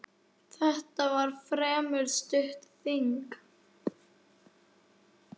Þetta var fremur stutt þing.